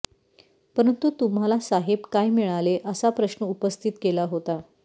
परंतु तु्म्हाला साहेब काय मिळाले असा प्रश्न उपस्थित केला होता